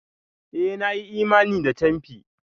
Eh! Na yi imani da camfi.